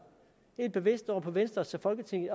helt bevidst over på venstres